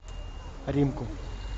римку